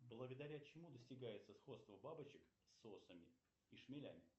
благодаря чему достигается сходство бабочек с осами и шмелями